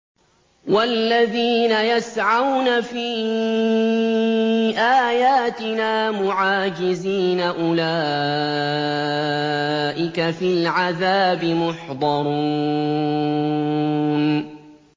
وَالَّذِينَ يَسْعَوْنَ فِي آيَاتِنَا مُعَاجِزِينَ أُولَٰئِكَ فِي الْعَذَابِ مُحْضَرُونَ